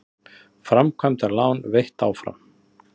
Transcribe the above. Framkvæmdalán veitt áfram